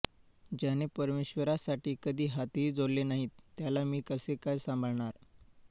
ज्याने परमेश्वरासाठी कधी हातही जोडले नाहीत त्याला मी कसे काय सांभाळणार